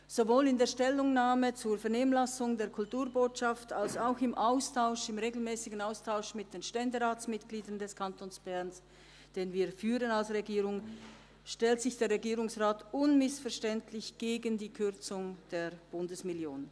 Sowohl in der Stellungnahme zur Vernehmlassung der Kulturbotschaft als auch im regelmässigen Austausch mit den Ständeratsmitgliedern des Kantons Bern, den wir als Regierung führen, stellt sich der Regierungsrat unmissverständlich gegen die Kürzung der Bundesmillion.